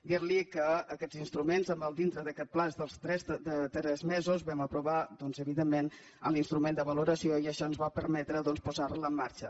dir·li que d’aquests instruments dintre d’aquest termini dels tres mesos vam aprovar doncs evidentment l’instrument de valoració i això ens va permetre posar·la en marxa